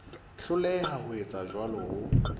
hloleha ho etsa jwalo ho